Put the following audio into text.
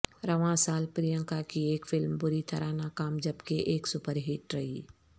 رواں سال پرینکا کی ایک فلم بری طرح ناکام جبکہ ایک سپرہٹ رہی